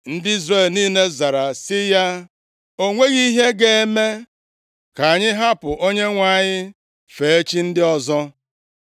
Ndị Izrel niile zara sị ya, “O nweghị ihe ga-eme ka anyị hapụ Onyenwe anyị fee chi ndị ọzọ!